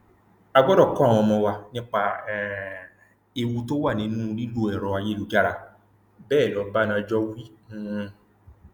a gbọdọ kọ àwọn ọmọ wa nípa um ewu tó wà nínú lílo ẹrọ ayélujára bẹẹ lọbánájọ wí um